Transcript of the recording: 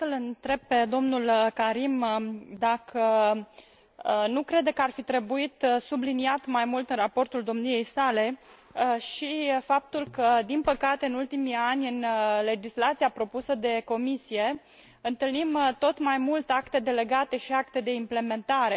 Aș vrea să l întreb pe dl Karim dacă nu crede că ar fi trebuit subliniat mai mult în raportul domniei sale și faptul că, din păcate, în ultimii ani, în legislația propusă de Comisie, întâlnim tot mai mult acte delegate și acte de implementare.